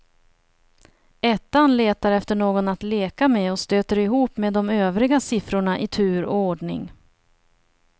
Ettan letar efter någon att leka med och stöter ihop med de övriga siffrorna i tur och ordning.